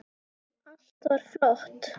Allt var flott.